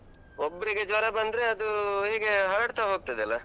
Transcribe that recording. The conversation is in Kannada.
ಒಬ್ರಿಗೆ ಜ್ವರ ಬಂದ್ರೆ ಅದು ಹೇಗೆ ಹರಡ್ತಾ ಹೋಗ್ತದಲ್ಲ.